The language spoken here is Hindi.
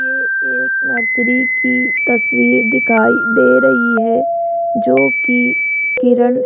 ये एक नर्सरी की तस्वीर दिखाई दे रही है जो की किरन --